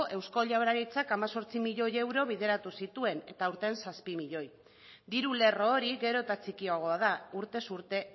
eusko jaurlaritzak hemezortzi milioi euro bideratu zituen eta aurten zazpi milioi diru lerro hori gero eta txikiagoa da urtez urte